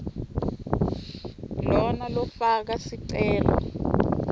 lona lofaka sicelo